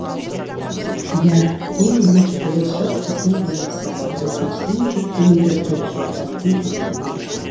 иә ең бірінші болашақ біздің қолымызда ал екіншіден біз дүниеге әкелеуші ұрпақтың кезегіне ауыспақ